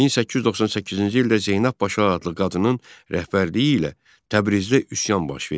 1898-ci ildə Zeynəb Paşa adlı qadının rəhbərliyi ilə Təbrizdə üsyan baş verdi.